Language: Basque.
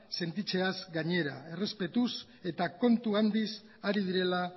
sentitzeaz gainera errespetuz eta kontu handiz ari direla